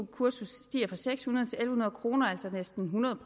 kursus stiger fra seks hundrede til en hundrede kr altså næsten hundrede